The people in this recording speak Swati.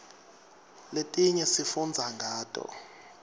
letinye sifundza ngato